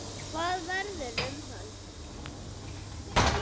Hvað verður um hann?